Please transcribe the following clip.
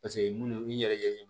Paseke munnu yɛrɛ ye